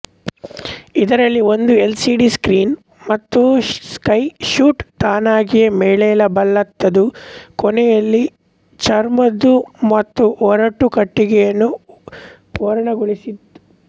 ಇದರಲ್ಲಿ ಒಂದು LCD screen ಮತ್ತು ಸ್ಕೈ ಸೂಟ್ ತಾನಾಗಿಯೇ ಮೇಲೇಳಬಲ್ಲಂಥದ್ದು ಕೊನ್ನೊಲ್ಲಿ ಚರ್ಮದ್ದು ಮತ್ತು ಒರಟು ಕಟ್ಟಿಗೆಯನ್ನು ಓರಣಗೊಳಿಸಿದ್ದು